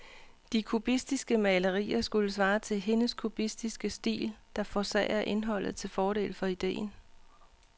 De kubistiske malerier skulle svare til hendes kubistiske stil, der forsager indholdet til fordel for idéen.